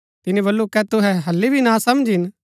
तिनी बल्लू कै तुहै हालि भी नासमझ हिन